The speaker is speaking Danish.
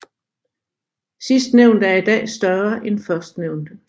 Sidstnævnte er i dag større end førstnævnte